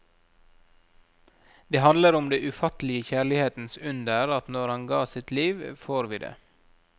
Det handler om det ufattelige kjærlighetens under at når han ga sitt liv, får vi det.